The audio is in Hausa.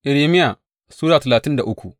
Irmiya Sura talatin da uku